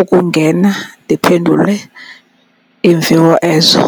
ukungena ndiphendule iimviwo ezo.